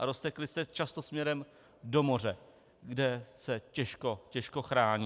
A roztekly se často směrem do moře, kde se těžko, těžko chrání.